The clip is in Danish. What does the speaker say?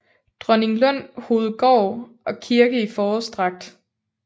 Dronninglund Hovedgård og kirke i forårsdragt